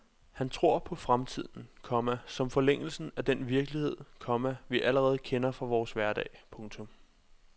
Han tror på fremtiden, komma som forlængelsen af den virkelighed, komma vi allerede kender fra vores hverdag. punktum